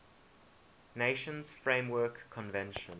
nations framework convention